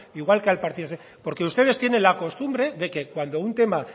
igual que al partido porque ustedes tienen la costumbre de que cuando un tema